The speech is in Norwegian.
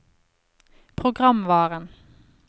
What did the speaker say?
programvaren